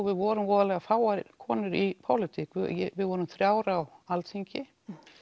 við vorum voða fáar konur í pólitík við vorum þrír á Alþingi